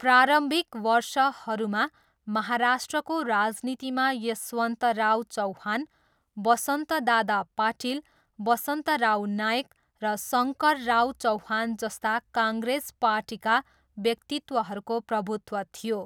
प्रारम्भिक वर्षहरूमा, महाराष्ट्रको राजनीतिमा यशवन्तराव चौहान, वसन्तदादा पाटिल, वसन्तराव नाइक र शङ्करराव चौहान जस्ता कङ्ग्रेस पार्टीका व्यक्तित्वहरूको प्रभुत्व थियो।